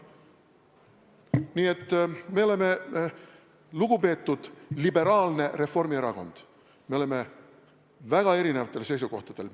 Nii et me oleme, lugupeetud liberaalne Reformierakond, väga erinevatel seisukohtadel.